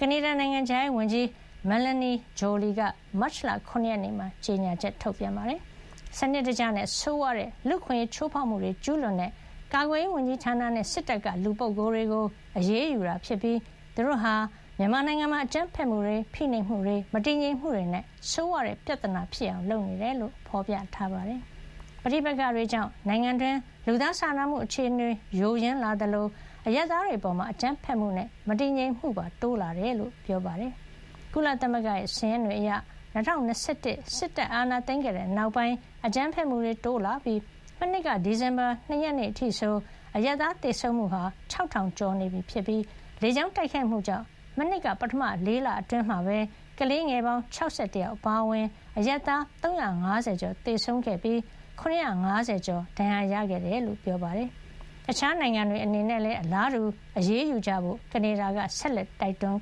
ကနေဒါနိုင်ငံခြားရေးဝန်ကြီး Mélanie Joly က မတ်လ ၇ ရက်နေ့မှာ ကြေညာပါတယ်။ စနစ်တကျနဲ့ ဆိုးဝါးလှတဲ့ လူ့အခွင့်အရေးချိုးဖေါက်မှု ကျူးလွန်တဲ့ ကာကွယ်ရေးဝန်ကြီးဌာနနဲ့ စစ်တပ်က လူပုဂ္ဂိုလ် တွေကို အရေးယူတာဖြစ်ပြီး သူတို့ဟာ မြန်မာနိုင်ငံမှာ အကြမ်းဖက်မှုတွေ၊ ဖိနှိပ်မှုတွေ၊ မတည်ငြိမ်မှုတွေနဲ့ ဆိုးဝါးတဲ့ ပြဿနာဖြစ်အောင် လုပ်နေတယ်လို့ ဖေါ်ပြထားပါတယ်။ ပဋိပက္ခတွေကြောင့် နိုင်ငံတွင်း လူသားစာနာမှု အခြေအနေယိုယွင်း လာသလို အရပ်သားတွေအပေါ် အကြမ်းဖက်မှုနဲ့ မတည်ငြိမ်မှုပါ တိုးလာတယ်လို့ ဆိုပါတယ်။ ကုလသမဂ္ဂ စာရင်းတွေအရ ၂၀၂၁ စစ်အာဏာသိမ်းခဲ့တဲ့ နောက်ပိုင်း အကြမ်းဖက်မှုတွေ တိုးလာပြီး မနှစ်က ဒီဇင်ဘာ ၂ ရက် အထိဆို အရပ်သား သေဆုံးမှုဟာ ၆,၀၀၀ ကျော်နေပြီး၊ လေကြောင်းတိုက်ခိုက်မှုကြောင့် မနှစ်က ပထမ ၄ လအတွင်း ကလေးငယ် ၆၁ ယောက်အပါအဝင် အရပ်သား ၃၅၀ ကျော် သေဆုံးကာ ၇၅၀ ကျော် ဒဏ်ရာရခဲ့တယ်လို့ ပြောပါတယ်။ တခြားနိုင်ငံတွေ အနေနဲ့လည်း အလားတူ အရေးယူကြဖို့ ကနေဒါက ဆက်လက် တိုက်တွန်